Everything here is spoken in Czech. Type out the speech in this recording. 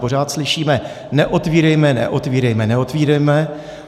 Pořád slyšíme - neotvírejme, neotvírejme, neotvírejme.